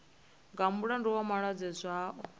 nga mulandu wa malwadze zwao